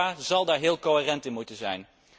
Europa zal daar heel coherent in moeten zijn.